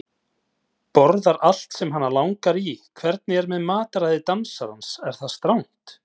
Borðar allt sem hana langar í Hvernig er með mataræði dansarans, er það strangt?